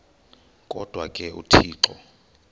kodwa ke uthixo